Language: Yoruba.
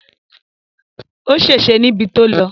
Ó ṣèṣé níbi tó lọ